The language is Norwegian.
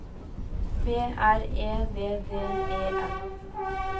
B R E D D E N